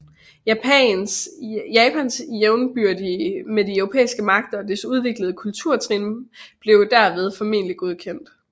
Japans jævnbyrdighed med de europæiske magter og dets udviklede kulturtrin blev jo derved formelig godkendt